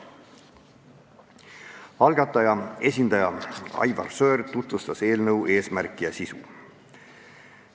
Algataja esindaja Aivar Sõerd tutvustas eelnõu eesmärki ja sisu.